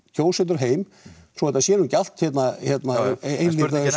kjósendur heim svo þetta sé nú ekki allt hérna ein